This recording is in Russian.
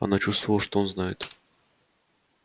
она чувствовала что он знает